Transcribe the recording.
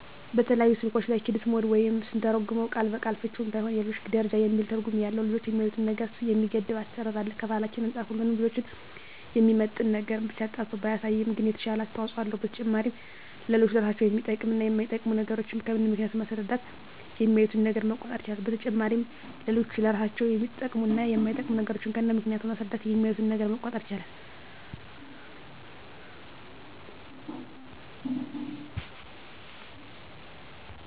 በተለያዩ ስልኮች ላይ "ኪድስ ሞድ" ወይም ስንተረጉመው ቃል በቃል ፍችውም ባይሆን የልጆች ደረጃ የሚል ትርጉም ያለው ልጆች የሚያዪትን ነገር የሚገድብ አሰራር አለ። ከባህላችን አንፃር ሁሉንም ልጆችን የሚመጥን ነገርን ብቻ አጣርቶ ባያሳይም ግን የተሻለ አስተዋጽኦ አለው። በተጨማሪም ለልጆች ለራሳቸው የሚጠቅሙ እና የማይጠቅሙ ነገሮችን ከነምክንያቱ በማስረዳት የሚያዪትን ነገር መቆጣጠር ይቻላል። በተጨማሪም ለልጆች ለራሳቸው የሚጠቅሙ እና የማይጠቅሙ ነገሮችን ከነምክንያቱ በማስረዳት የሚያዪትን ነገር መቆጣጠር ይቻላል።